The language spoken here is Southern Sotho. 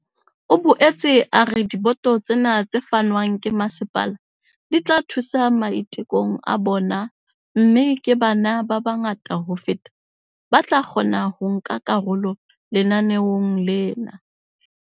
O boetse a re diboto tsena tse fanweng ke masepala di tla thusa maitekong a bona mme ke bana ba bangata ho feta ba tla kgona ho nka karolo lenaneong lena.